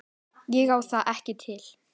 Ég á það ekki til.